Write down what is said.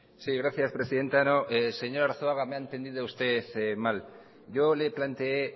sí gracias presidenta no señor arzuaga me ha entendido usted mal yo le planteé